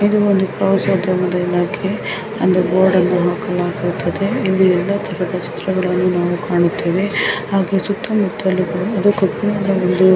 ಇದು ಒಂದು ಕ್ಲೋಸ್ ಅದ ಒಂದು ಇಲಾಖೆ ಎಂದು ಬೋರ್ಡ್ ಅನ್ನು ಹಾಕಲಾಗುತ್ತದೆ. ಇಲ್ಲಿ ಎಲ್ಲಾ ತರಹದ ಚಿತ್ರಗಳು ನಾವು ಕಾಣುತ್ತೇವೆ. ಹಾಗೆ ಸುತ್ತ ಮುಟ್ಟಲು ಕೂಡ ಕಬ್ಬಿನಾಡು ಒಂದು--